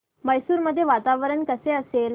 मैसूर मध्ये वातावरण कसे असेल